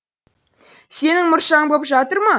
сенің мұршаң боп жатыр ма